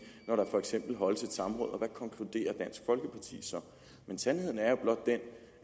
når der for eksempel holdes et samråd og så konkluderer men sandheden er jo blot den